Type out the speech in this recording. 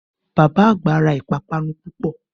Bàbá àgbà ra ìpápánu púpọ̀